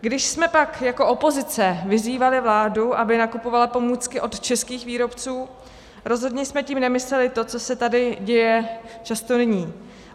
Když jsme pak jako opozice vyzývali vládu, aby nakupovala pomůcky od českých výrobců, rozhodně jsme tím nemysleli to, co se tady děje často nyní.